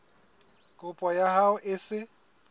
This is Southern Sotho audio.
kopo ya hao e se